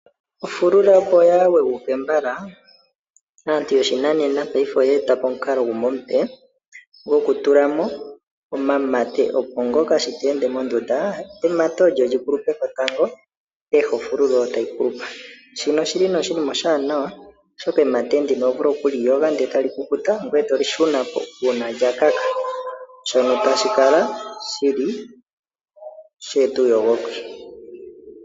Ofulula opo yaa kweguke mbala, aantu yoshinanena paife oya eta po omukalo gumwe omupe, gokutula mo omamate opo ngoka shi ta ende mondunda, emate olyo li kulupe po tango, peha ofulula oyo tayi kulupa. Shino oshi li nee oshinima oshaanawa oshoka emate ndino oho vulu oku li yoga ndee tali kukuta, ngwee to li shuna po uuna lya kaha. Shono tashi kala shi li sha eta uuyogoki.